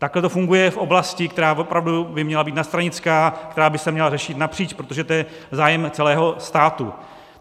Takhle to funguje v oblasti, která opravdu by měla být nadstranická, která by se měla řešit napříč, protože to je zájem celého státu.